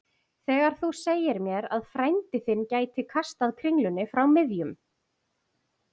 Þegar þú sagðir mér að frændi þinn gæti kastað kringlunni frá miðjum